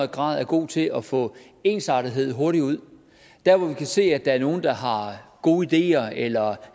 grad er gode til at få ensartethed hurtigt ud dér hvor vi kan se at der er nogle der har gode ideer eller